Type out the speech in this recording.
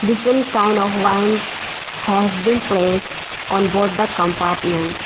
Different kinds of wines has been placed on both the compartments.